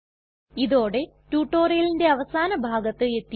ഇതോടെ ട്യൂട്ടോറിയലിന്റെ അവസാന ഭാഗത്ത് എത്തിയിരിക്കുന്നു